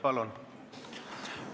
Palun!